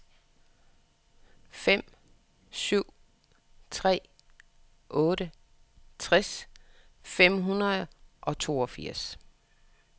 fem syv tre otte tres fem hundrede og toogfirs